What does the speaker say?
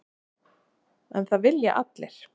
En það vilja allir.